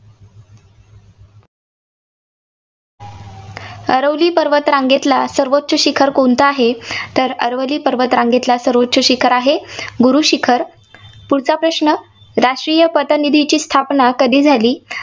अरवली पर्वत रांगेतला सर्वोच्च शिखर कोणते आहे तर आरवली पर्वत रांगेतलं सर्वोच्च शिखर आहे गुरू शिखर. पुढचा प्रश्न. राष्ट्रीय पतनिधीची स्थापना कधी झाली?